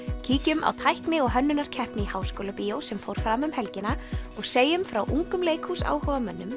kíkjum á tækni og hönnunarkeppni í Háskólabíói sem fór fram um helgina og segjum frá ungum